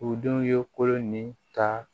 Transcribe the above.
U denw ye kolon ni ka